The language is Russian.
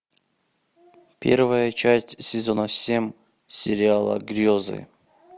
первая часть сезона семь сериала грезы